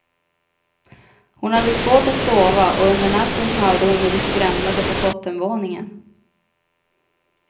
Hon hade svårt att sova och under natten hörde hon hur det skramlade på bottenvåningen.